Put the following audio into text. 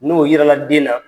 N'o yira la den na.